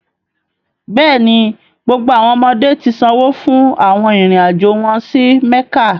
Bẹẹni, gbogbo awọn ọmọde ti sanwo fun awọn irin-ajo wọn si Mekka.